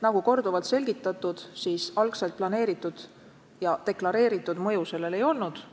Nagu korduvalt selgitatud, algselt plaanitud ja deklareeritud mõju sellel ei ole olnud.